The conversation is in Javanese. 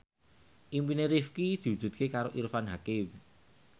impine Rifqi diwujudke karo Irfan Hakim